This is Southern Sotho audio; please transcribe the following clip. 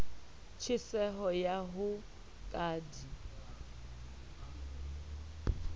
tjheseho ya ho ka di